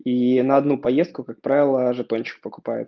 и на одну поездку как правило жетончик покупаю